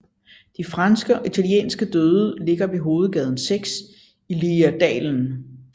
De franske og italienske døde ligger ved hovedvej 6 i Liridalen